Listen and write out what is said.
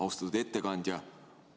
Austatud ettekandja!